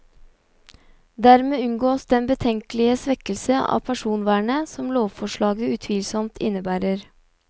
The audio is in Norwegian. Dermed unngås den betenkelige svekkelse av personvernet som lovforslaget utvilsomt innebærer.